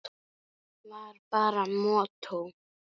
Var bara mottó.